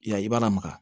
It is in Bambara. I y'a ye i b'a lamaga